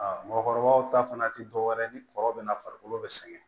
Aa mɔgɔkɔrɔbaw ta fana tɛ dɔwɛrɛ ye ni kɔrɔ bɛ na farikolo bɛ sɛgɛn